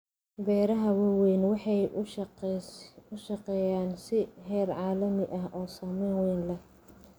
Beeraha waaweyni waxay u shaqeeyaan si heer caalami ah oo saamayn wayn leh.